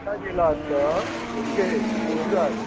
गेला तर ओके